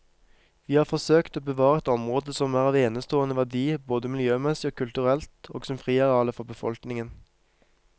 Vi har forsøkt å bevare et område som er av enestående verdi både miljømessig og kulturelt og som friareale for befolkningen.